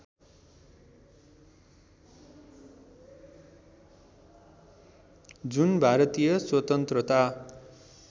जुन भारतीय स्वतन्त्रता